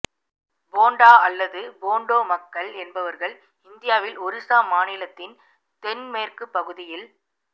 போண்டா அல்லது போண்டோ மக்கள் என்பவர்கள் இந்தியாவில் ஒரிசா மாநிலத்தின் தென்மேற்குப் பகுதியில்